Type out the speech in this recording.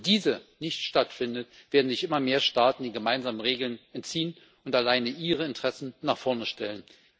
Wo diese nicht stattfindet, werden sich immer mehr Staaten den gemeinsamen Regeln entziehen und alleine ihre Interessen nach vorne stellen.